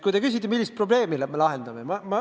Te küsite, et millist probleemi me lahendame.